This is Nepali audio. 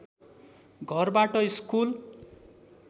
घरबाट स्कुल